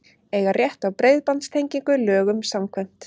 Eiga rétt á breiðbandstengingu lögum samkvæmt